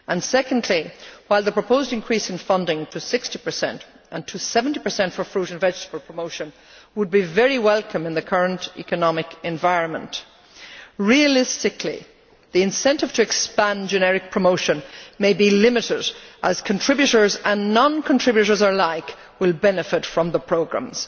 Secondly, while the proposed increase in funding to 60, and to 70 for fruit and vegetable promotion would be very welcome in the current economic environment, realistically, the incentive to expand generic promotion may be limited as contributors and non contributors alike will benefit from the programmes.